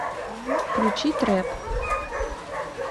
включи трэп